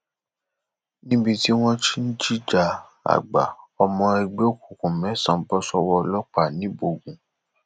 níbi tí wọn ti ń jìjà àgbà ọmọ ẹgbẹ òkùnkùn mẹsànán bọ sọwọ ọlọpàá ńíbógun